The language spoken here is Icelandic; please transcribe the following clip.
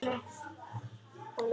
Annað þeirra var Brynja.